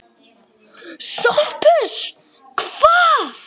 SOPHUS: Hvað?